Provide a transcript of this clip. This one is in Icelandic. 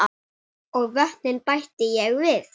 Og vötnin bætti ég við.